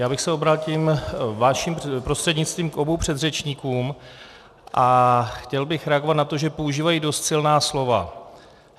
Já bych se obrátil vaším prostřednictvím k oběma předřečníkům a chtěl bych reagovat na to, že používají dost silná slova.